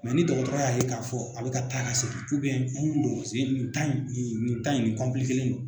ni dɔgɔtɔrɔ y'a ye k'a fɔ a bɛ ka taa ka segin nin tan in tan in nin do.